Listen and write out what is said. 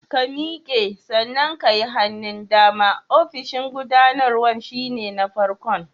Ka miƙe, sannan ka yi hannun dama, ofishin gubanarwan shi ne na farkon.